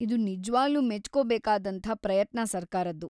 ಇದು ನಿಜ್ವಾಗ್ಲೂ ಮೆಚ್ಕೋಬೇಕಾದಂಥ ಪ್ರಯತ್ನ ಸರ್ಕಾರದ್ದು.